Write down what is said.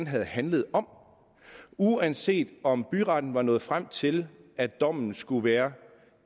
havde handlet om uanset om byretten var nået frem til at dommen skulle være